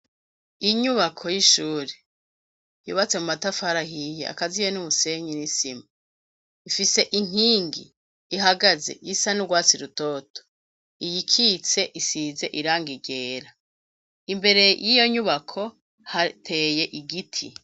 Inyubako y'ishuri yubatse mu matafari ahiye akaziye n'umusenyi n'isima, ifise inkingi ihagaze isa n'urwatsi rutoto, iyikitse isize irangi ryera, imbere yiyo nyubako hateye igiti.